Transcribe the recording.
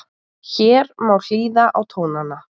Hér má hlýða á tónana